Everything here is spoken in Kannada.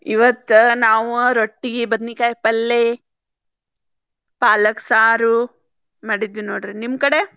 ಇವತ್ತ್ ನಾವ್ ರೊಟ್ಟಿ ಬದ್ನಿಕಾಯಿ ಪಲ್ಲೆ ಪಾಲಕ್ ಸಾರು ಮಾಡಿದ್ವಿ ನೋಡ್ರಿ ನಿಮ್ಮ್ ಕಡೆ?